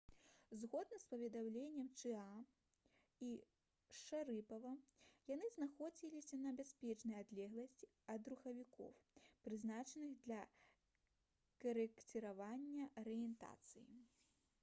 згодна з паведамленнем чыаа і шарыпава яны знаходзіліся на бяспечнай адлегласці ад рухавікоў прызначаных для карэкціравання арыентацыі